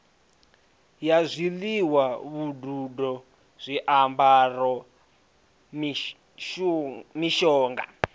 ya zwiḽiwa vhududo zwiambaro mishonga